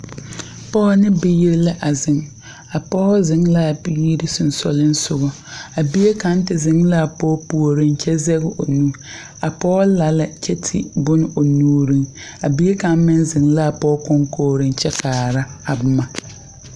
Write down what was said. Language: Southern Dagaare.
Pɔgɔ ne biire la zeŋ. A pɔgɔ zeŋ la a biire susugliŋsɔgɔ. A bie kang te zeŋ la a pɔgɔ pooreŋ kyɛ zeg o nu. A pɔgɔ la lɛ kye te bon o nuureŋ. A bie kang meŋ zeŋ la a pɔgɔ konkogreŋ kyɛ kaara a boma